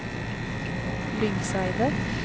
Lyngseidet